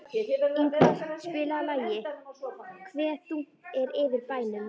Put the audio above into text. Ingvar, spilaðu lagið „Hve þungt er yfir bænum“.